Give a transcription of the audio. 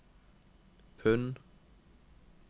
pund